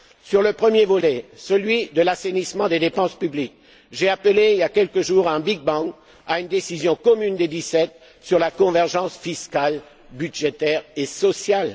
Sur le premier volet celui de l'assainissement des dépenses publiques j'ai appelé, il y a quelques jours, à un big bang à une décision commune des Dix sept sur la convergence fiscale, budgétaire et sociale.